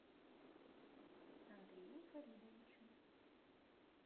андрею фаридовичу